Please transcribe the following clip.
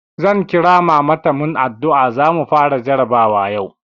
Zan kira mama ta mun addu'a, zamu fara jarabawa yau.